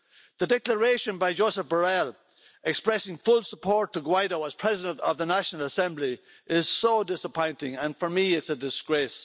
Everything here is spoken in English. The Declaration by Josep Borrell, expressing full support to Guaidó as President of the National Assembly is so disappointing and for me it's a disgrace.